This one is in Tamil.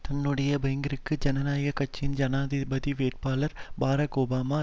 தன்னுடைய பங்கிற்கு ஜனநாயக கட்சியின் ஜனாதிபதி வேட்பாளர் பரக் ஒபாமா